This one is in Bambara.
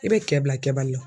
I bɛ cɛ bila kɛbali la.